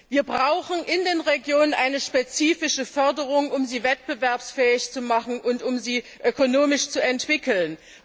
Wir brauchen in den Regionen eine spezifische Förderung, um sie wettbewerbsfähig zu machen und um sie ökonomisch zu entwickeln.